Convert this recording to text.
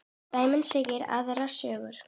Dæmin segja aðra sögu.